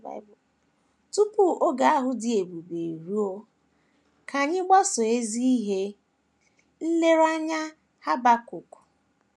Tupu oge ahụ dị ebube eruo, ka anyị gbasoo ezi ihe nlereanya Habakuk.